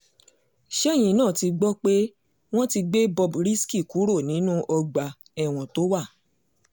ṣẹ́yìn náà ti gbọ́ pé wọ́n ti gbé bob risky kúrò nínú ọgbà ẹ̀wọ̀n tó wà